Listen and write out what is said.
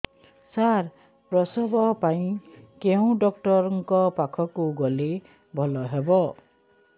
ସାର ପ୍ରସବ ପାଇଁ କେଉଁ ଡକ୍ଟର ଙ୍କ ପାଖକୁ ଗଲେ ଭଲ ହେବ